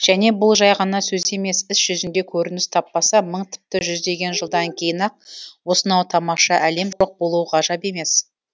және бұл жай ғана сөз емес іс жүзінде көрініс таппаса мың тіпті жүздеген жылдан кейін ақ осынау тамаша әлем жоқ болуы ғажап емес